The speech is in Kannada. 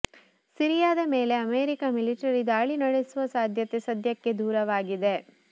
ಸಿರಿಯಾದ ಮೇಲೆ ಅಮೆರಿಕ ಮಿಲಿಟರಿ ದಾಳಿ ನಡೆಸುವ ಸಾಧ್ಯತೆ ಸದ್ಯಕ್ಕೆ ದೂರವಾಗಿದೆ